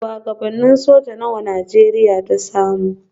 Shuwagabannin soja nawa Najeriya ta samu?